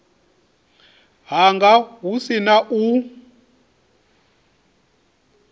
hanga hu si na u